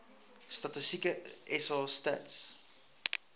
statistieke sa stats